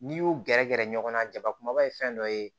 N'i y'u gɛrɛ gɛrɛ ɲɔgɔn na jabakumaba ye fɛn dɔ ye